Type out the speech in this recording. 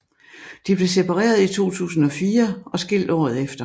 De blev separeret i 2004 og skilt året efter